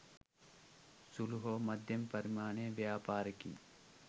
සුළු හෝ මධ්‍යම පරිමාණයේ ව්‍යාපාරිකයින්